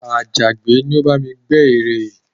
Àjàgbẹ́ ni ó bá mi gbẹ́ ère yìí